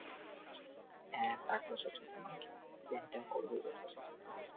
হ্যাঁ তারপর plan করব এই বছরের শেষের দিকে